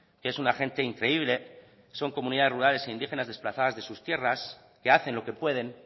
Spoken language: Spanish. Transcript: que es una gente increíble son comunidades rurales e indígenas desplazadas de sus tierras que hacen lo que pueden